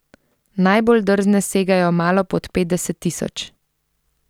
Najbolj drzne segajo malo pod petdeset tisoč.